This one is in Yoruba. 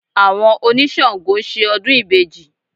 Àwọn oníṣàngọ̀ ń ṣe ọdún ìbejì